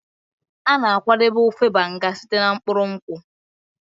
A na-akwadebe ofe Banga site na mkpụrụ nkwụ.